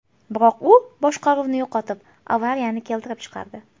Biroq u boshqaruvni yo‘qotib, avariyani keltirib chiqardi.